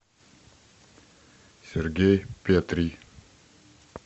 сергей петрий